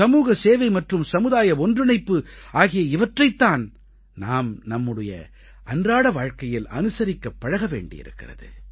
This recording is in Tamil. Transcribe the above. சமூக சேவை மற்றும் சமுதாய ஒன்றிணைப்பு ஆகிய இவற்றைத் தான் நாம் நமது அன்றாட வாழ்க்கையில் அனுசரிக்கப் பழக வேண்டியிருக்கிறது